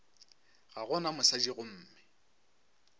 ga go na mosadi gomme